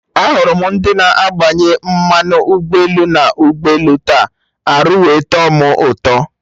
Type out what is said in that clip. Ahụrụ m ndị na-agbanye mmanụ ụgbọelu na ụgbọelu taa, arụ wee tọ mụ ụtọ